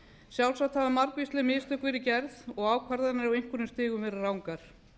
sjálfsagt hafa margvísleg mistök verið gerð og ákvarðanir á einhverjum stigum verið rangar